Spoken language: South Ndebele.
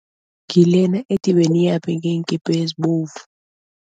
Ngilena ethi, beniyaphi ngeenkipa ezibovu.